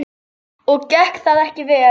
Og gekk það ekki vel.